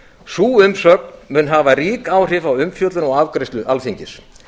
sú umsögn mun hafa rík áhrif á umfjöllun og afgreiðslu alþingis